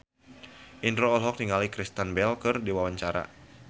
Indro olohok ningali Kristen Bell keur diwawancara